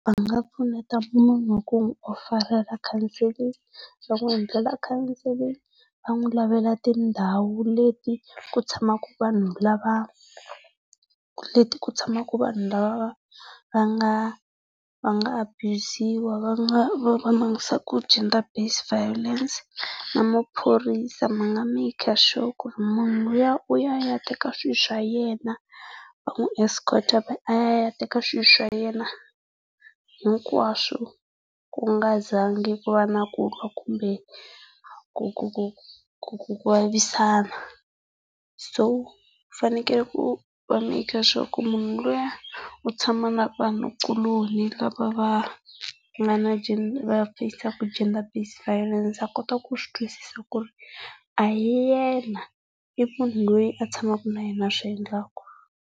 Va nga pfuneta munhu hi ku n'wi ofarela counselling, va n'wi endlela counselling, va n'wi lavela tindhawu leti ku tshamaka vanhu lava leti ku tshamaka vanhu lava va nga va nga abuyuziwa va va va va langutisaka gender-based violence. Na maphorisa ma nga make sure ku munhu luya u ya ayateka swilo swa yena, va n'wi escort a ya teka swilo swa yena hinkwaswo ku nga zangi ku va na kulwa kumbe ku ku ku ku ku ku vavisana. So, fanekele ku va make sure ku munhu luya u tshama na vanhu kuloni lava va nga na va feyisaka gender based violence a kota ku swi twisisa ku ri a hi yena, i munhu loyi a tshamaka na yena a swi endlaka.